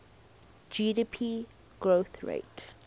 gdp growth rates